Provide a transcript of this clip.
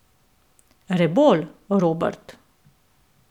Rebolj, Robert.